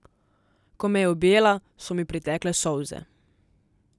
Ko me je objela, so mi pritekle solze.